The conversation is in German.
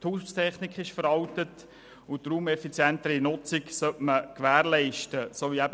Die Haustechnik ist veraltet, und eine raumeffizientere Nutzung sollte gewährleistet werden.